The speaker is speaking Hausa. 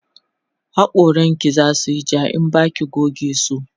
hakoran ki zasuyi ja in Baki goge su